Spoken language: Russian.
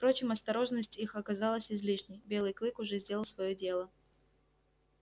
впрочем осторожность их оказалась излишней белый клык уже сделал своё дело